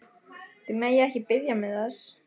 Þið megið ekki biðja mig þess!